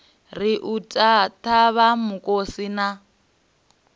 ri u ṱavha mukosi na